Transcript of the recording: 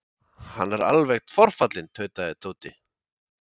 Hann er alveg forfallinn tautaði Tóti.